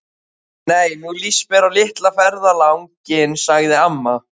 Nei, nú líst mér á litla ferðalang- inn sagði amma.